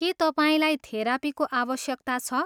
के तपाईँलाई थेरापीको आवश्यकता छ?